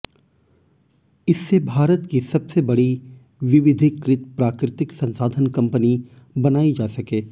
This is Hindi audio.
इससे भारत की सबसे बड़ी विविधीकृत प्राकृतिक संसाधन कंपनी बनाई जा सके